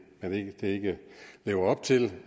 ikke lever op til